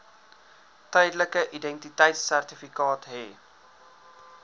tydelike identiteitsertifikaat hê